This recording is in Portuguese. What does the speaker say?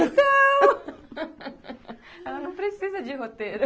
Ela não precisa de roteiro.